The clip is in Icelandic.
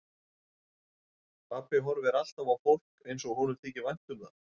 Pabbi horfir alltaf á fólk eins og honum þyki vænt um það.